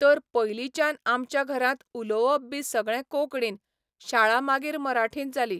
तर पयलींच्यान आमच्या घरांत उलवोप बी सगळें कोंकणीन, शाळा मागीर मराठींत जाली.